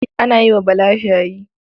An yi wa Bala shayi.